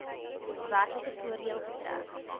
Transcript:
werklike voordeel getrek